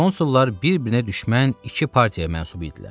Konsullar bir-birinə düşmən iki partiyaya mənsub idilər.